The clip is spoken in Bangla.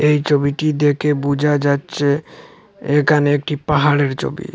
এই চবিটি দেখে বুঝা যাচচে একানে একটি পাহাড়ের চবি ।